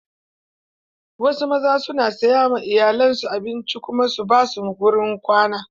Wasu mazan su na saya ma iyalan su abinci su kuma ba su wurin kwana.